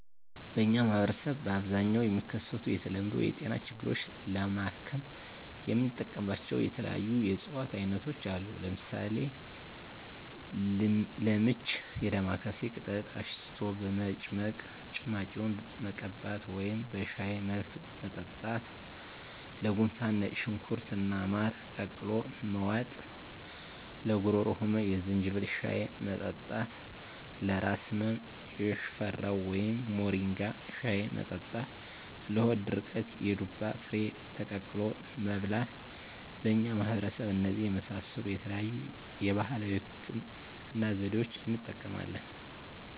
በእኛ ማህበረሰብ በአብዛኛው የሚከሰቱ የተለመዱ የጤና ችግሮችን ለማከም የምንጠቀምባቸው የተለያዩ የእፅዋት አይነቶች አሉ። ለምሳሌ፦ -ለምች የዳማካሴ ቅጠል አሽቶ በመጭመቅ ጭማቂውን መቀባት ወደም በሻይ መልክ መጠጣት -ለጉንፋን ነጭ ሽንኩርት እና ማር ቀላቅሎ መዋጥ -ለጉሮሮ ህመም የዝንጅብል ሻይ መጠጣት -ለራስ ህመም የሽፈራው ወይም ሞሪንጋ ሻይ መጠጣት -ለሆድ ድርቀት የዱባ ፍሬ ተቆልቶ መብላት በእኛ ማህበረሰብ እነዚህን የመሳሰሉ የተለያዩ የባህላዊ ህክምና ዘዴዋችን እንጠቀማለን።